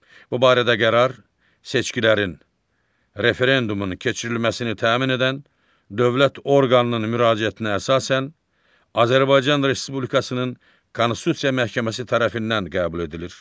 Bu barədə qərar seçkilərin, referendumun keçirilməsini təmin edən dövlət orqanının müraciətinə əsasən Azərbaycan Respublikasının Konstitusiya Məhkəməsi tərəfindən qəbul edilir.